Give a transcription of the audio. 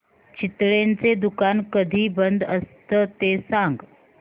चितळेंचं दुकान कधी बंद असतं ते सांग